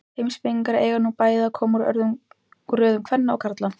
Heimspekingarnir eiga nú bæði að koma úr röðum kvenna og karla.